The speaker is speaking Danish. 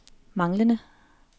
manglende